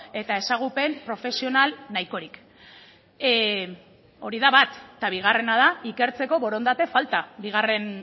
eta ezagupen profesional nahikorik hori da bat eta bigarrena da ikertzeko borondate falta bigarren